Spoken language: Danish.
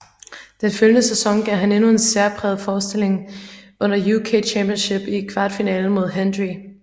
Den følgende sæson gav han endnu en særpræget forestilling under UK Championship i kvartfinalen mod Hendry